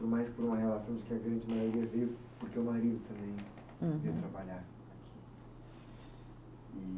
Por mais, por uma relação de que a grande maioria veio, porque o marido também. Uhum. Veio trabalhar aqui e.